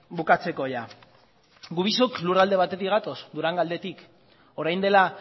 bukatzeko gu biok lurralde batetik gatoz durangaldetik orain dela